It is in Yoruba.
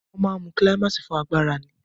Wọ́n máa ń mu kílámáìsì fún agbára ni.